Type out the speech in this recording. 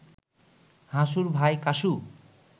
হাসুর ভাই কাসু